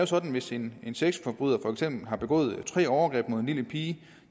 sådan at hvis en sexforbryder for eksempel har begået tre overgreb mod en lille pige